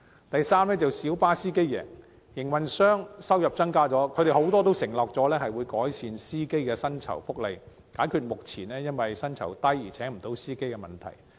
第三，小巴司機贏，營運商收入增加，很多營運商已承諾會改善司機的薪酬福利，解決因薪酬偏低而未能聘請司機的問題。